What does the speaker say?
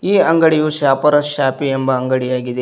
ಈ ಅಂಗಡಿಯು Shopper Shoppy ಎಂಬ ಅಂಗಡಿ ಆಗಿದೆ.